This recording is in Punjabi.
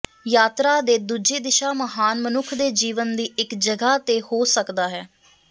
ਯਾਤਰਾ ਦੇ ਦੂਜੇ ਦਿਸ਼ਾ ਮਹਾਨ ਮਨੁੱਖ ਦੇ ਜੀਵਨ ਦੀ ਇੱਕ ਜਗ੍ਹਾ ਤੇ ਹੋ ਸਕਦਾ ਹੈ